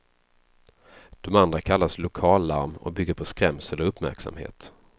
Det andra kallas lokallarm och bygger på skrämsel och uppmärksamhet.